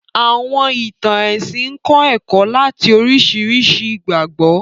Àwọ̀n ìtàn ẹ̀sìn ń kọ́ ẹ̀kọ́ láti oríṣiríṣi ìgbàgbọ́